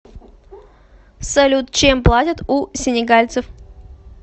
салют чем платят у сенегальцев